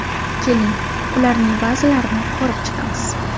Keling, ularning ba’zilarini ko‘rib chiqamiz.